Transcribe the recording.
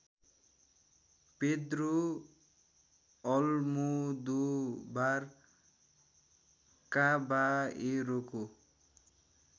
Pedro Almodovar काबाएरोको